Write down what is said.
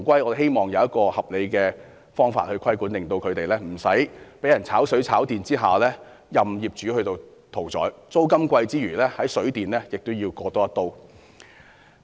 我只希望有一個合理方法規管，令租客不用被人"炒水、炒電"，任業主宰割，除承擔昂貴租金外，還要在水電開支上被割一刀。